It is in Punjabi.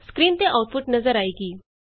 ਸਕਰੀਨ ਤੇ ਆਉਟਪੁਟ ਨਜ਼ਰ ਆਏਗੀ